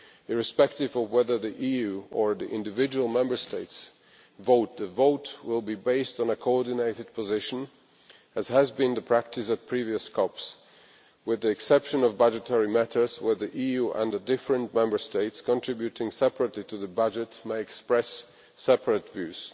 Irrespective of whether the EU or the individual Member States vote, the vote will be based on a coordinated position, as has been the practice at previous CoPs, with the exception of budgetary matters where the EU and the different Member States contributing separately to the budget may express separate views.